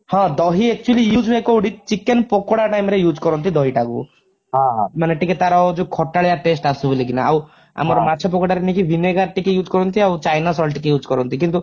ହାଁ ଦହି actually use ହୁଏ କଉଠି chicken ପକୋଡା time ରେ use କରନ୍ତି ଦହିଟାକୁ ମାନେ ଟିକେ ତାର ଯଉ ଖଟାଳିଆ taste ଆସୁ ବୋଲିକିନା ଆଉ ଆମର ମାଛ ପକୋଡାରେ ନେଇକି vinegar ଟିକେ use କରନ୍ତି ଆଉ china salt ଟିକେ use କରନ୍ତି କିନ୍ତୁ